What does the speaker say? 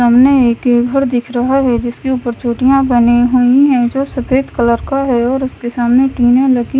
सामने एक रिवर दिख रहा है जिसके ऊपर चोटियां बनी हुईं हैं जो सफेद कलर का है और उसके सामने टीने लगी--